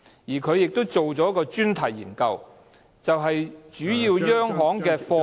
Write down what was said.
"此外，一項專題研究主要針對央行的貨幣......